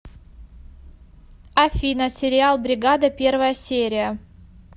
афина сериал бригада первая серия